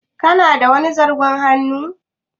Kana da wani zarton hannun?